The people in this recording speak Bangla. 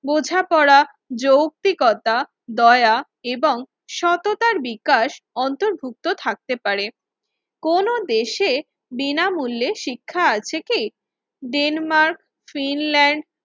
বোঝাপড়া, যৌতিকতা, দয়া এবং সততার বিকাশ অন্তর্ভুক্ত থাকতে পারে। কোন দেশে বিনামূল্যে শিক্ষা আছে কি? Denmark, Finland,